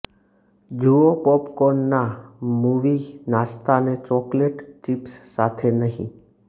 જુઓ પોપકોર્નના મૂવી નાસ્તાને ચોકલેટ ચિપ્સ સાથે નહીં